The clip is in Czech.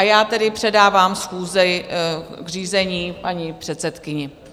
A já tedy předávám schůzi k řízení paní předsedkyni.